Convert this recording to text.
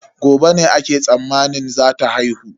Gobe ne ake tsammanin zata haihu.